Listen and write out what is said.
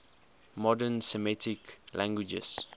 modern semitic languages